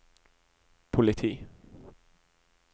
politi